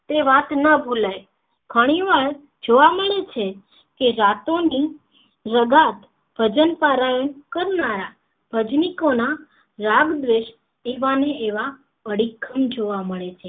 તે વાત ન ભુલાય ઘણી વાર જો મળે છે કે રાતો ની રગાટ ભજન પારાયણ ની કરનારા ભજનિકો ના રાગ દ્વેષ થી તેવા ને એવા અડીખમ જોવા મળે છે